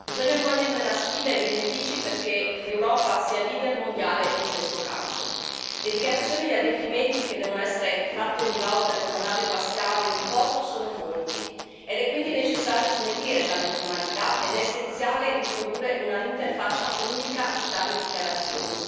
Bisogna coglierne la sfida e i benefici, perché l'Europa sia leader mondiale in questo campo. Le dichiarazioni e gli adempimenti che devono essere fatti ogni volta che una nave fa scalo in un porto sono molti ed è quindi necessario snellire tale formalità ed è essenziale introdurre una interfaccia unica di tali dichiarazioni.